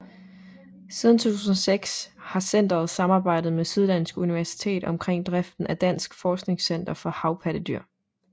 Siden 2006 har centeret samarbejdet med Syddansk Universitet omkring driften af Dansk Forskningscenter for Havpattedyr